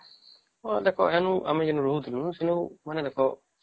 ଭଲ ଦେଖା ଆମେ ଯେଉଁ ରହୁଥିଲୁ ମାନେ ଦେଖା